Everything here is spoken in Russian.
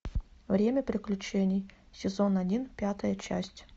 время приключений сезон один пятая часть